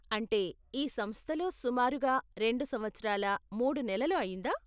అంటే, ఈ సంస్థలో సుమారుగా రెండు సంవత్సరాల, మూడు నెలలు అయిందా?